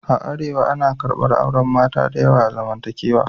A Arewa, ana karɓar auren mata da yawa a zamantakewa.